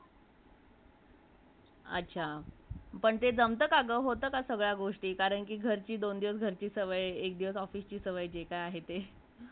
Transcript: अच्छा ! पण ते जमते का ग ? होते का सगळा गोष्टी कारण का घरची , दोन दिवस घरची सवय म तीन दिवस ऑफिसची जे काय आहे ती